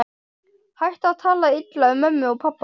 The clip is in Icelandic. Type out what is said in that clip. Hættu að tala illa um mömmu og pabba!